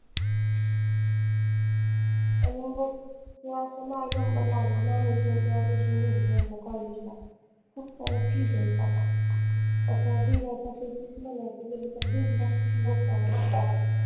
आनि मग तुझा असा नाई number लागला नाय admission college ला खूप साऱ्या fees आहेत बाबा आता DY पाटीलचीच मला वाटत तरी पन दीड lakhfee आहे एका वर्षाची